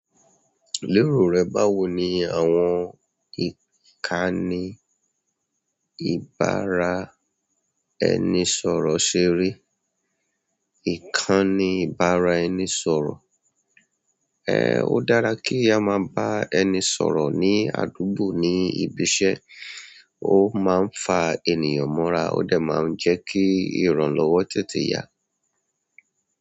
Lérò rẹ, báwo ni àwọn ìkànnì ìbára ẹni sọ̀rọ̀ ṣe rí? Ìkànnì ìbára ẹni sọ̀rọ̀. O dára ki ama ba ẹni sọ̀rọ̀ ni àdúgbò, ni bi iṣẹ́, o ó máa ń fa ènìyàn mọ́ra, ó dà máa ń jẹ́ kí ìrànlọ́wọ́ tètè yá.